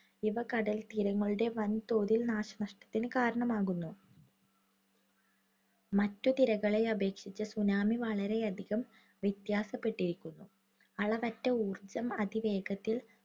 ഇവ കടൽതീരങ്ങളുടെ വൻതോതിൽ നാശനഷ്ടത്തിന് കാരണമാകുന്നു. മറ്റു തിരകളെ അപേക്ഷിച്ച് tsunami വളരെയധികം വ്യത്യാസപ്പെട്ടിരിക്കുന്നു. അളവറ്റ ഊർജ്ജം അതിവേഗതയിൽ